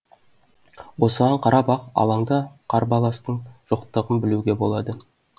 осыған қарап ақ алаңда қарбаластың жоқтығын білуге болады